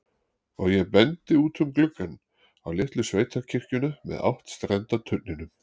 Og ég bendi út um gluggann, á litlu sveitakirkjuna með áttstrenda turninum.